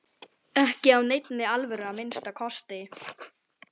Ekki af neinni alvöru að minnsta kosti.